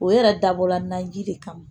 O yɛrɛ dabɔla n'an ji de kama